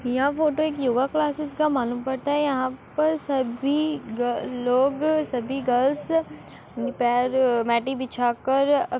यह फोटो एक yoga classes का मालूम पड़ता है। यहाँ पर सभी गा लोग सभी गर्ल्स बिछा कर --